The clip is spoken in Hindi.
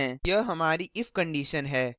यह हमारी if condition है